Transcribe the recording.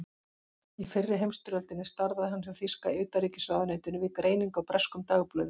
Í fyrri heimsstyrjöldinni starfaði hann hjá þýska utanríkisráðuneytinu við greiningu á breskum dagblöðum.